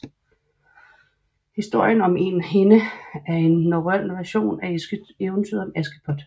Historien om en hende er en norrøn version af eventyret om Askepot